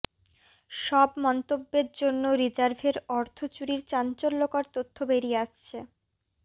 সব মন্তব্যের জন্য রিজার্ভের অর্থ চুরির চাঞ্চল্যকর তথ্য বেরিয়ে আসছে